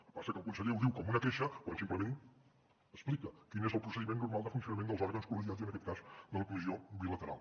el que passa que el conseller ho diu com una queixa quan simplement explica quin és el procediment normal de funcionament dels òrgans col·legiats i en aquest cas de la comissió bilateral